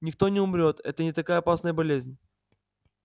никто не умрёт это не такая опасная болезнь